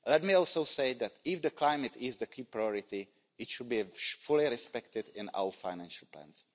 Let me also say that if climate is the key priority, it should be fully respected in our financial plans.